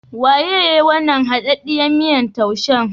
Waye yayi wannan haɗaɗɗan miyan taushen?